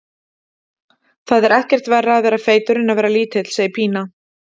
Það er ekkert verra að vera feitur en að vera lítill, segir Pína.